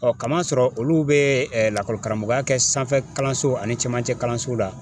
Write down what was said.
Ɔ kam'a sɔrɔ olu bɛ lakɔlikaramɔgɔya kɛ sanfɛ kalanso ani camancɛ kalanso la